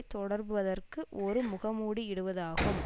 தொடர்பதற்கு ஒரு முகமூடி இடுவதாகும்